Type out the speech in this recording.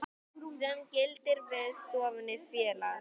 sem gildir við stofnun félags.